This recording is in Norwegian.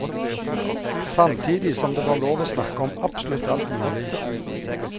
Samtidig som det var lov å snakke om absolutt alt mulig.